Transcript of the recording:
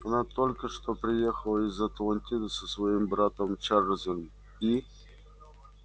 она только что приехала из атлантиды со своим братом чарлзом и